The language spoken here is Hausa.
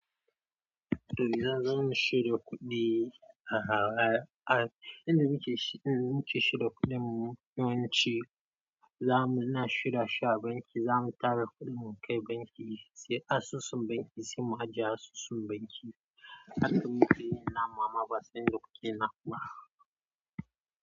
Toh, zan zo mu shirya kuɗi a har ai, idan muke shi, idan muke shirya kuɗin mu yawanci za mu, na shirya shi a banki. Za mu tara kuɗin mu kai banki, sai asusun banki, sai mu ajiye a asusun banki. Haka muke yi na mama ba sai doki na kuwa.